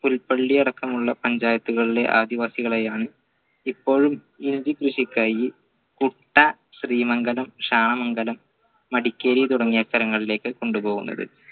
പുൽപ്പള്ളി അടക്കമുള്ള പഞ്ചായത്തുകളിലെ ആദിവാസികളെയാണ് ഇപ്പോഴും കൃഷിക്കായി കുട്ടാ ശ്രീമംഗലം ക്ഷാമംഗലം മടിക്കേരി തുടങ്ങിയ സ്ഥലങ്ങളിലേക്ക് കൊണ്ടുപോകുന്നത്